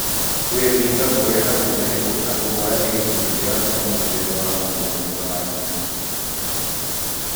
Kwĩhinga kũrĩa na kũnyua na kũhoya nĩ gĩcunjĩ kĩa mũtũrĩre wa mũndũ mwega wa ndini.